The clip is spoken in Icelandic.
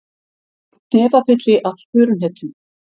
Hnefafylli af furuhnetum